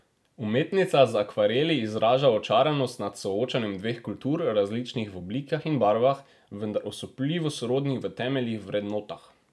Umetnica z akvareli izraža očaranost nad soočanjem dveh kultur, različnih v oblikah in barvah, vendar osupljivo sorodnih v temeljnih vrednotah.